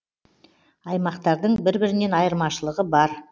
аймақтардың бір бірінен айырмашылығы бар